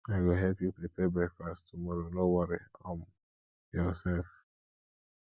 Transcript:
i go help you prepare breakfast tomorrow no worry um yoursef